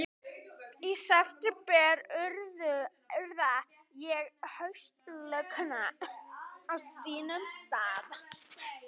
Í september urða ég haustlaukana á sínum stað.